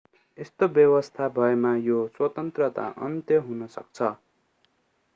यस्तो व्यवस्था भएमा यो स्वतन्त्रता अन्त्य हुन सक्छ